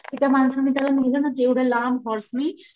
कि त्या माणसाने त्याला नेलं ना एवढ्या लांब हॉर्स नि,